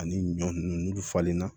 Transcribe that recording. Ani ɲɔ nunnu n'olu falenna